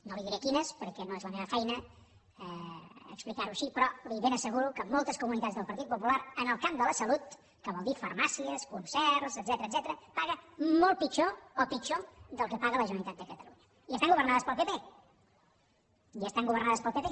no li diré quines perquè no és la meva feina explicar ho així però li ho ben asseguro en moltes comunitats del partit popular en el camp de la salut que vol dir farmàcies concerts etcètera es paga molt pitjor o pitjor del que paga la generalitat de catalunya i estant governades pel pp i estant governades pel pp